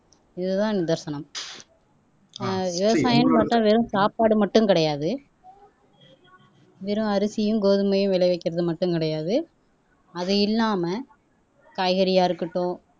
இதுதான் நிதர்சனம் ஆஹ் விவசாயம் பாத்தா வெறும் சாப்பாடு மட்டும் கிடையாது வெறும் அரிசியும் கோதுமையும் விளைவிக்கிறது மட்டும் கிடையாது அது இல்லாம காய்கறியா இருக்கட்டும்